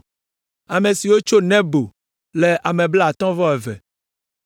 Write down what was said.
Ame siwo tso Nebo le ame blaatɔ̃ vɔ eve (52).